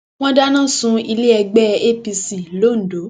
wọn dáná sun ilé ẹgbẹ apc londo